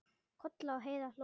Kolla og Heiða hlógu líka.